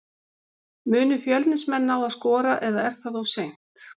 Munu Fjölnismenn ná að skora eða er það of seint?